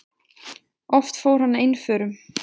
Oft fór hann einförum.